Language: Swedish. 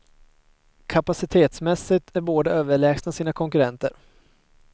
Kapacitetmässigt är båda överlägsna sina konkurrenter.